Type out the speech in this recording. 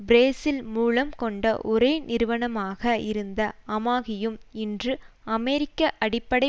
Brazil மூலம் கொண்ட ஒரே நிறுவனமாக இருந்த அமாகியும் இன்று அமெரிக்க அடிப்படை